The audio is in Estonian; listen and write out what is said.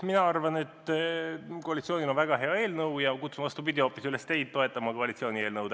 Mina arvan, et koalitsioonil on väga hea eelnõu, ja kutsun, vastupidi, hoopis üles teid toetama koalitsiooni eelnõu.